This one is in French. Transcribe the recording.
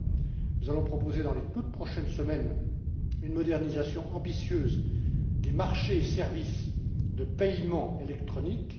D'abord, nous allons proposer dans les toutes prochaines semaines une modernisation ambitieuse des marchés et services de paiements électroniques.